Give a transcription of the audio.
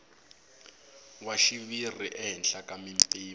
wa xiviri ehenhla ka mimpimo